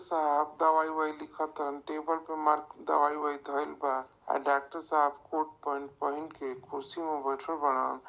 साहब दवाई वाई लिखतन टेबल पे मार्क दवाई बवाई धईल बा डाक्टर साहेब कोट पैन्ट पहन के खुर्सी पे बैठल बारन।